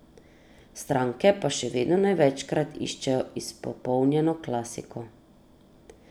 Stranke pa še vedno največkrat iščejo izpopolnjeno klasiko.